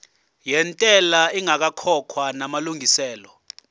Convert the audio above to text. yentela ingakakhokhwa namalungiselo